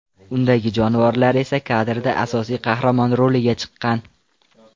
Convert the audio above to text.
Undagi jonivorlar esa kadrda asosiy qahramon roliga chiqqan.